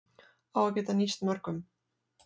Á að geta nýst mörgum